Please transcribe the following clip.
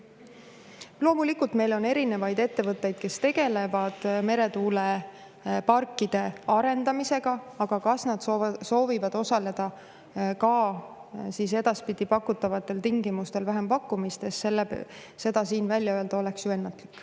Loomulikult, meil on erinevaid ettevõtteid, kes tegelevad meretuuleparkide arendamisega, aga kas nad soovivad edaspidi osaleda nendel pakutavatel tingimustel vähempakkumistes, oleks siin välja öelda ennatlik.